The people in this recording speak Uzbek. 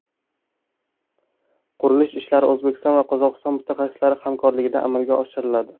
Qurilish ishlari O‘zbekiston va Qozog‘iston mutaxassislari hamkorligida amalga oshiriladi.